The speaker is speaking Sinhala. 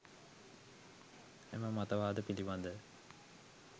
එම මතවාද පිළිබඳ